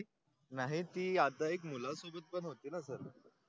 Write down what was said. नाही ती आता एक मुला सोबत पण होती ना सर